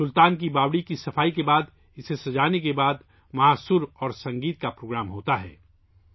سلطان کی باوڑی کی صفائی اور سجاوٹ کے بعد وہاں سُر اور سنگیت کا پروگرام ہوتا ہے